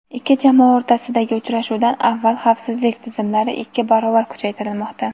ikki jamoa o‘rtasidagi uchrashuvdan avval xavfsizlik tizimlari ikki barobar kuchaytirilmoqda.